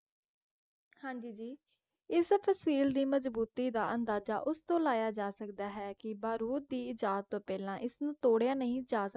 ਹਾਂ ਜੀ ਜੀ ਇਸ ਤਸੀਲ ਦੀ ਮਜ਼ਬੂਤੀ ਇਸਤੋਂ ਲਾਇਆ ਜਾ ਸਕਦਾ ਹੈ ਕਿ ਬਾਰੂਦ ਦੀ ਈਜ਼ਾਦ ਤੋਂ ਓਹਿਲਾਂ ਇਸਨੂੰ ਤੋੜਿਆ ਨਹੀਂ ਜਾ ਸਕਦਾ ਸੀ